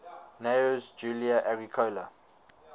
gnaeus julius agricola